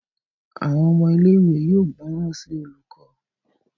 Àwọn ọmọ ilé ìwé yóò gbóròn sí olùkó.